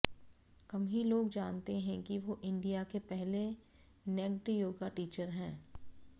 कम ही लोग जानते हैं कि वो इंडिया के पहले नेक्ड योगा टीचर हैं